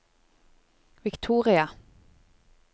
Victoria